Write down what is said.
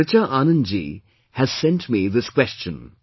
One Richa Anand Ji has sent me this question